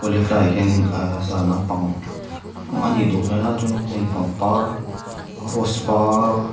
tlaiah hianin aaa zan lampang a nih duh hmel a chuanin hei pangpar rose par --